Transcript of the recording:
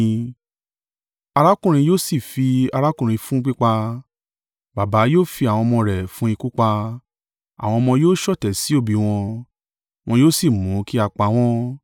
“Arákùnrin yóò sì fi arákùnrin fún pípa. Baba yóò fi àwọn ọmọ rẹ̀ fún ikú pa. Àwọn ọmọ yóò ṣọ̀tẹ̀ sí òbí wọn, wọn yóò sì mú kí a pa wọ́n.